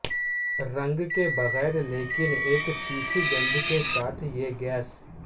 رنگ کے بغیر لیکن ایک تیکھی گند کے ساتھ یہ گیس